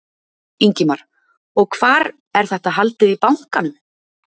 Ingimar: Og hvar, er þetta haldið í bankanum?